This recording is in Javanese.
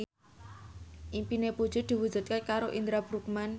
impine Puji diwujudke karo Indra Bruggman